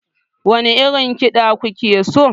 Wane irin kida kuke so?